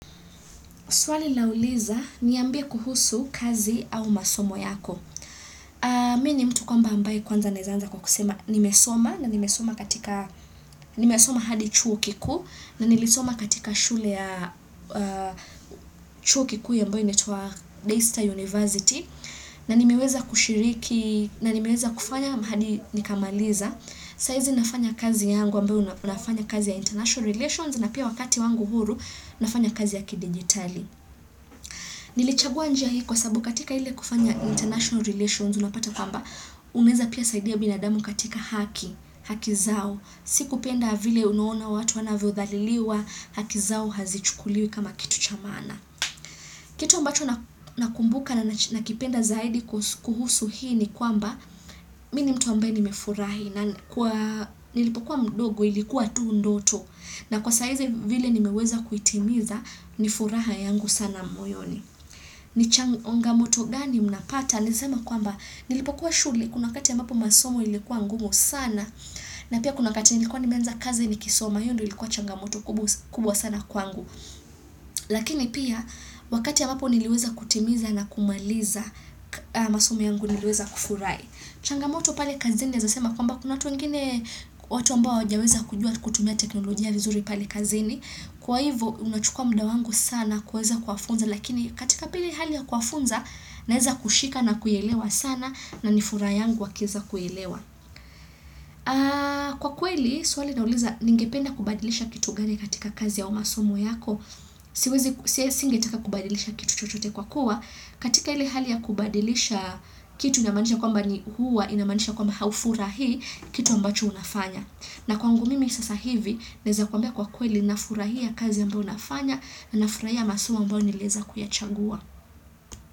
Swali lauliza, niambie kuhusu kazi au masomo yako. Mimi ni mtu ambaye kwanza naweza anza kwa kusema nimesoma na nimesoma hadi chuo kikuu na nilisoma katika shule ya chuo kikuu ambayo inaitwa Day star University. Na nimiweza kushiriki na nimiweza kufanya hadi nikamaliza. Saizi nafanya kazi yangu ambayo nafanya kazi ya International Relations na pia wakati wangu huru nafanya kazi ya ki-digitali. Nilichagua njia hii kwa sabubu katika ile kufanya international relations unapata kwamba uneza pia saidi ya binadamu katika haki, hakizao, si kupenda vile unaona watu wanavyo dhaliliwa, hakizao hazichukuliwi kama kitu cha maana. Kitu ambacho nakumbuka na nakipenda zaidi kuhusu hii ni kwamba mimi mtu ambaye nimefurahi, na nilipokuwa mdogo ilikuwa tu ndoto na kwa sahizi vile nimeweza kuitimiza nifuraha yangu sana mwoyoni. Ni changamoto gani mnapata? Niseme kwamba nilipokuwa shuleni kuna wakati ambapo masomo yalikuwa ngumu, sana na pia kunawakati nilikuwa nimeanza kazi nikisoma hiyo ndo ilikuwa changamoto kubwa sana kwangu. Lakini pia wakati ya ambapo niliweza kutimiza na kumaliza masomu yangu niliweza kufurahi. Changamoto pale kazini nawesema kwamba kuna watu wengine, watu ambao hawajaweza kujua kutumia teknolojia vizuri pale kazini Kwa hivyo unachukua muda wangu sana kuweza kuwafunza lakini katika pale hali ya kuwafunza naeza kushika na kuielewa sana na nifuraha yangu wakiweza kuelewa Kwa kweli swali nauliza ningependa kubadilisha kitu gani katika kazi ya au masomo yako siwezi singetaka kubadilisha kitu chochote kwa kuwa, katika ile hali ya kubadilisha kitu inamanisha kwamba haufurahii kitu ambacho unafanya, na kwangu mimi sasa hivi naeza kwambia kwa kweli nafurahia kazi ambayo nafanya na nafurahia masomo ambayo nilieza kuyachagua.